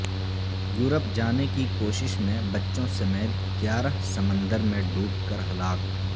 Europe جانے کی کوشش میں بچوں سمیت گیارہ سمندر میں ڈوب کر ہلاک